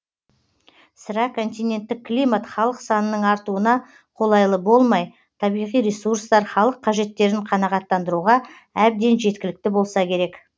сірә континенттік климат халық санының артуына қолайлы болмай табиғи ресурстар халык қажеттерін қанағаттандыруға әбден жеткілікті болса керек